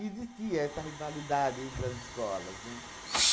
Existia essa rivalidade entre as escolas, né?